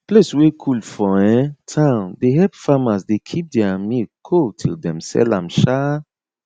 place wey cool for um town dey help farmers dey keep their milk cold till dem sell am um